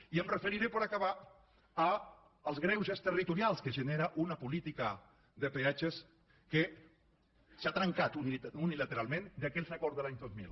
i em referiré per acabar als greuges territorials que genera una política de peatges que s’ha trencat unilateralment d’aquells acords de l’any dos mil